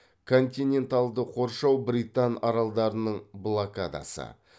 континентальды қоршау британ аралдарының блокадасы